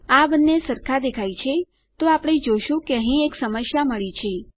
આ બંને સરખા દેખાય છે તો આપણે જોઈ શકીએ છીએ કે અહીં એક સમસ્યા મળી છે